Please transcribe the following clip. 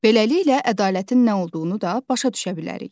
Beləliklə, ədalətin nə olduğunu da başa düşə bilərik.